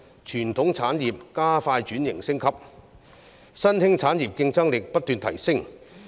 傳統產業加快轉型升級，新興產業競爭力不斷提升。